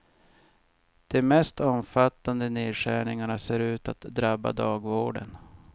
De mest omfattande nedskärningarna ser ut att drabba dagvården.